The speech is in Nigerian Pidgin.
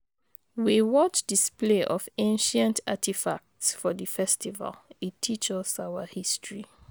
We watch display of ancient artifacts for di festival, e teach us our history.